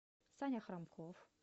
саня храмков